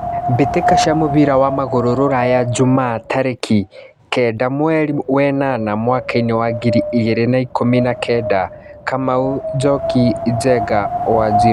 Mbĩtĩka cia mũbira wa magũrũ Ruraya Jumaa tarĩki kenda mweri wenana mwakainĩ wa ngiri igĩrĩ na ikũmi na kenda Kamau, Njoki, Njenga, Wanjiru.